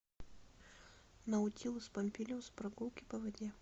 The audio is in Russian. наутилус помпилиус прогулки по воде